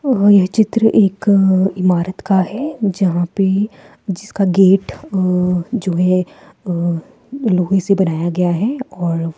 यह चित्र एक इमारत का है जहाँ पे जिसका गेट अ जो है लोहे से बनाया गया है और --